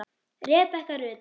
Rebekka Rut.